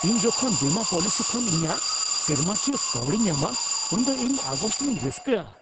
ᱤᱧ ᱡᱚᱠᱷᱚᱱ ᱵᱤᱢᱟᱹ ᱯᱚᱞᱤᱥᱤ ᱠᱷᱚᱱ ᱤᱧᱟᱹᱜ ᱥᱮᱨᱢᱟᱠᱤᱭᱟᱹ ᱠᱟᱹᱣᱰᱤᱧ ᱧᱟᱢᱟ ᱩᱱᱫᱚ ᱤᱧ ᱚᱜᱟᱥᱴ ᱨᱤᱧ ᱨᱟᱹᱥᱠᱟᱹᱜᱼᱟ ᱾